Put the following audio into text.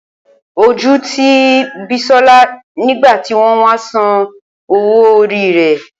Oju ti Bisola nigba ti won wa san owo ori re.